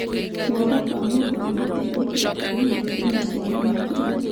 Guoko kwa mũndũ nĩ gũkuhi gũkĩra kũgũrũ, na kũrĩ na ciara nũngĩrĩru.